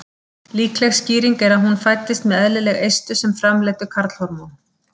Líkleg skýring er að hún fæddist með eðlileg eistu sem framleiddu karlhormón.